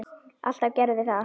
Alltaf gerðum við það.